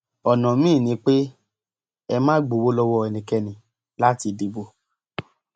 ọnà míín ni pé ẹ má gbowó lọwọ ẹnikẹni láti dìbò